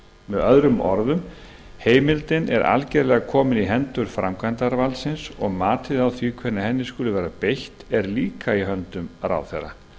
með öðrum orðum heimildin er algerlega komin í hendur framkvæmdarvaldsins og matið á því hvenær henni skuli vera beitt er líka í höndum ráðherra